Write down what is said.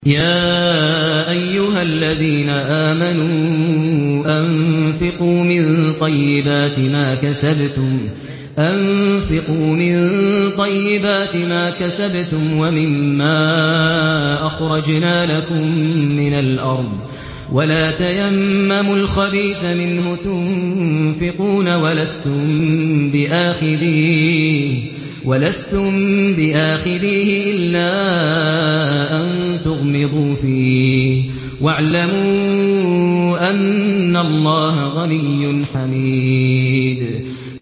يَا أَيُّهَا الَّذِينَ آمَنُوا أَنفِقُوا مِن طَيِّبَاتِ مَا كَسَبْتُمْ وَمِمَّا أَخْرَجْنَا لَكُم مِّنَ الْأَرْضِ ۖ وَلَا تَيَمَّمُوا الْخَبِيثَ مِنْهُ تُنفِقُونَ وَلَسْتُم بِآخِذِيهِ إِلَّا أَن تُغْمِضُوا فِيهِ ۚ وَاعْلَمُوا أَنَّ اللَّهَ غَنِيٌّ حَمِيدٌ